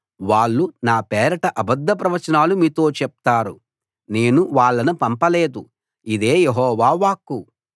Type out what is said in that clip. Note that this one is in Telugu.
వాళ్ళు నా పేరట అబద్ధ ప్రవచనాలు మీతో చెప్తారు నేను వాళ్ళను పంపలేదు ఇదే యెహోవా వాక్కు